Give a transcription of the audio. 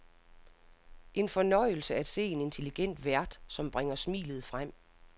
En fornøjelse at se en intelligent vært, som bringer smilet frem.